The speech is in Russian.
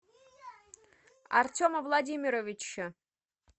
артема владимировича